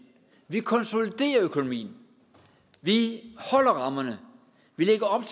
vi konsoliderer økonomien vi holder rammerne vi lægger op